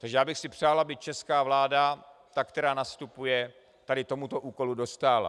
Takže já bych si přál, aby česká vláda, ta, která nastupuje, tady tomuto úkolu dostála.